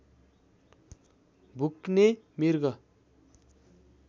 भुक्ने मृग